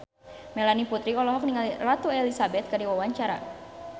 Melanie Putri olohok ningali Ratu Elizabeth keur diwawancara